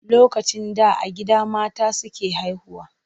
Lokacin da a gida mata suke haihuwa.